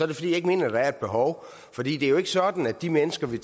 det fordi jeg ikke mener at der er et behov for det er jo ikke sådan at de mennesker vi